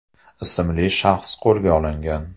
ismli shaxs qo‘lga olingan.